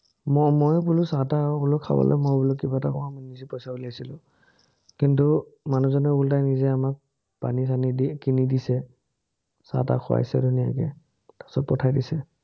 মই ময়ো বোলো চাহ-তাহ খাবলে মই বোলো কিবা এটা খুৱাম, নিজে পইচা উলিয়াইছিলো, কিন্তু, মানুহজনে ওল্টাই নিজে আমাক পানী-চানি দি কিনি দিছে। চাহ-তাহ খুৱাইছে ধুনীয়াকে। তাৰপাচত পঠাই দিছে।